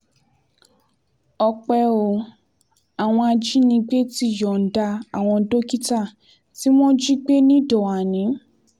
ọpẹ́ o àwọn ajínigbé ti yọ̀ǹda àwọn dókítà tí wọ́n jí gbé níìdọ́ànì